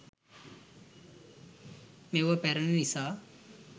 මේවා පැරණි නිසා